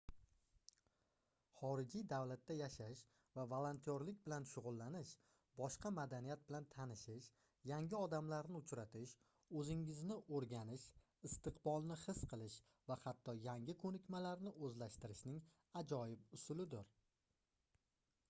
xorijiy davlatda yashash va volontyorlik bilan shugʻullanish boshqa madaniyat bilan tanishish yangi odamlarni uchratish oʻzingizni oʻrganish istiqbolni his qilish va hatto yangi koʻnikmalarni oʻzlashtirishning ajoyib usulidir